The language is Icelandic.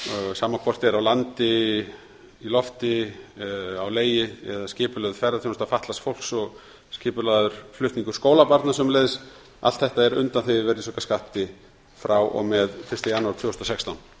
sama hvort er á landi í lofti á legi eða skipulögð ferðaþjónusta fatlaðs fólks og skipulagður flutningur skólabarna sömuleiðis allt þetta er undanþegið virðisaukaskatti frá og með fyrsta janúar tvö þúsund og sextán í